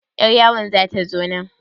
Yar yawon zata zo nan?